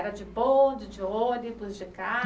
Era de bonde, de ônibus, de